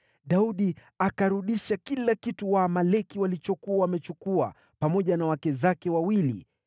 Daudi akarudisha kila kitu Waamaleki walikuwa wamechukua, pamoja na wake zake wawili.